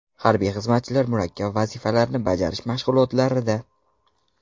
Harbiy xizmatchilar murakkab vazifalarni bajarish mashg‘ulotlarida.